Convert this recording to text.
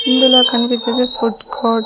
ఇందులో కన్పిచ్చేది food court .